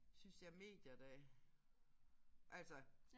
Synes jeg medier der altså